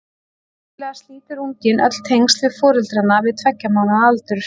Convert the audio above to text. Venjulega slítur unginn öll tengsl við foreldrana við tveggja mánaða aldur.